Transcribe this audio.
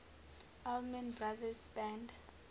allman brothers band